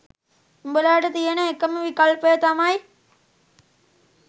උඹලාට තියෙන එකම විකල්පය තමයි